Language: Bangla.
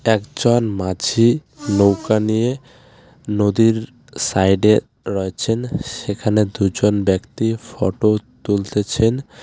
একজন মাঝি নৌকা নিয়ে নদীর সাইডে রয়েছেন সেখানে দুজন ব্যক্তি ফটো তুলতেছেন.